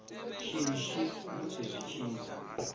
shishi musi zwi tshi da